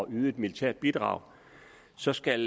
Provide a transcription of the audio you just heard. yde et militært bidrag så skal